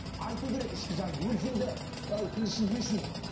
айту керек ішкі жанды өлсең де ы тіл үшін не үшін